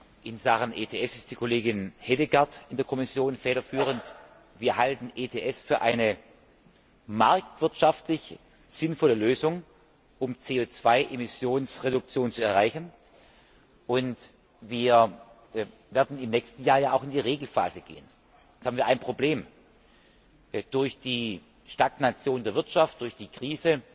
In Sachen ETS ist die Kollegin Hedegaard in der Kommission federführend. Wir halten ETS für eine marktwirtschaftlich sinnvolle Lösung, um CO Emissionsreduktion zu erreichen, und wir werden im nächsten Jahr in die Regelphase gehen. Jetzt haben wir ein Problem Durch die Stagnation der Wirtschaft, durch die Krise,